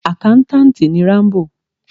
Àkántàntì ni Rámbò.